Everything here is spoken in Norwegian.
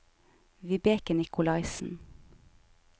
Vibeke Nikolaisen